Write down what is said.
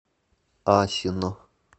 асино